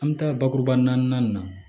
An bɛ taa bakuruba naani na